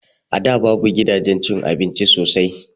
A da babu gidajen cin abinci sosai